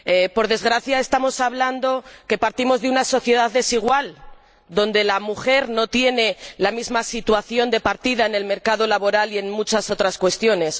Por desgracia, estamos hablando de que partimos de una sociedad desigual, donde la mujer no tiene la misma situación de partida en el mercado laboral y en muchas otras cuestiones.